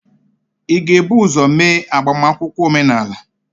ị ga-ebu ụzọ mee agbamakwụkwọ omenala?